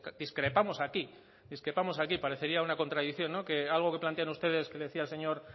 discrepamos aquí parecería una contradicción que algo que plantean ustedes que decía el señor